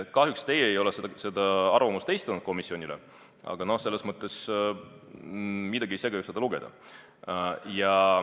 Kahjuks te ei ole seda arvamust esitanud komisjonile, aga miski ju ei sega seda lugeda.